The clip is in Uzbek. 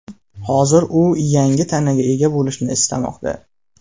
Hozir u yangi tanaga ega bo‘lishni istamoqda.